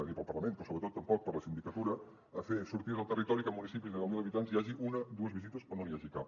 ni per al parlament però sobretot tampoc per a la sindicatura fer sortides al territori i que en municipis de deu mil habitants hi hagi una dues visites o no n’hi hagi cap